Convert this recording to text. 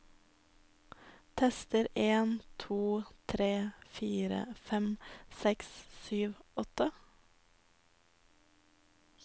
Tester en to tre fire fem seks sju åtte